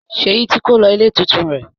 Seyi ti kó lọ ilé tuntun rẹ̀.